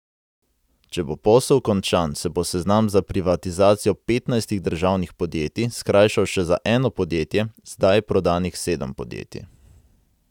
Če bo posel končan, se bo seznam za privatizacijo petnajstih državnih podjetij skrajšal še za eno podjetje, zdaj je prodanih sedem podjetij.